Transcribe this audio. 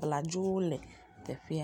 bladzowo le teƒea.